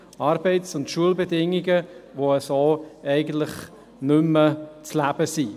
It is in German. Arbeits- und Schulbedingungen, die so eigentlich nicht mehr zu leben sind.